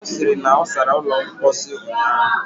Ọ sịrị na ọ sara ụlọ mposi ụnyaahụ.